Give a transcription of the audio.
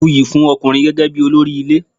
A buyì fún ọkùnrin gẹ́gẹ́ bí olórí ilé.